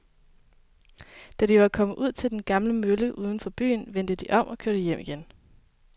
Da de var kommet ud til den gamle mølle uden for byen, vendte de om og kørte hjem igen.